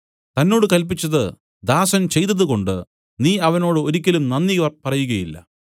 തന്നോട് കല്പിച്ചത് ദാസൻ ചെയ്തതുകൊണ്ടു നീ അവനോട് ഒരിയ്ക്കലും നന്ദി പറയുകയില്ല